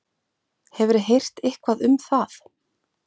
Hefurðu heyrt eitthvað um það?